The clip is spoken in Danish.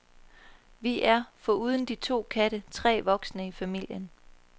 Vi er, foruden de to katte, tre voksne i familien.